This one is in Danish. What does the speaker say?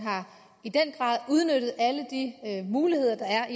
i den grad har udnyttet alle de muligheder der er